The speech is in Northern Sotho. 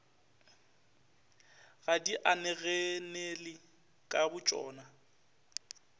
ga di inaganele ka botšona